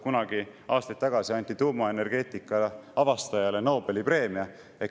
Kunagi aastaid tagasi anti tuumaenergeetika avastajale Nobeli preemia.